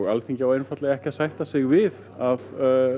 Alþingi á einfaldlega ekki að sætta sig við að